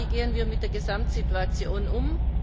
Wie gehen wir mit der Gesamtsituation um?